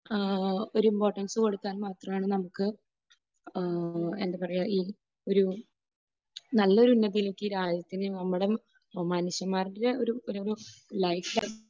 ആഹ് ഒരു ഇമ്പോർട്ടൻസ് കൊടുത്താൽ മാത്രമാണ് നമുക്ക് ആഹ് എന്താ പറയുക, ഈ ഒരു നല്ല ഒരു ഇതിലേയ്ക്ക് നമ്മുടെ രാജ്യത്തിനെ, ഒരു മനുഷ്യന്മാരുടെ ഒരു ലൈഫ് ആണ്